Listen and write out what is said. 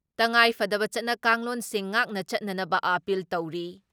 ꯇꯉꯥꯏꯐꯗꯕ ꯆꯠꯅ ꯀꯥꯡꯂꯣꯟꯁꯤꯡ ꯉꯥꯛꯅ ꯆꯠꯅꯅꯕ ꯑꯥꯄꯤꯜ ꯇꯧꯔꯤ ꯫